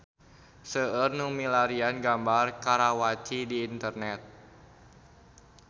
Seueur nu milarian gambar Karawaci di internet